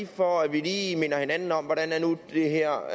for at vi lige minder hinanden om hvordan det her